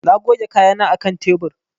Na goge kayana a kan tebur.